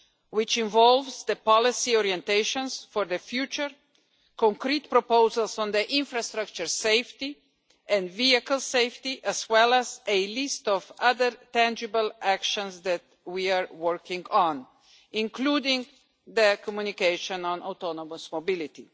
which involves the policy orientations for the future, concrete proposals on the infrastructure safety and vehicle safety, as well as a list of other tangible actions that we are working on, including the communication on autonomous mobility.